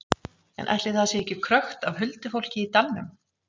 En ætli það sé ekki krökkt af huldufólki í dalnum?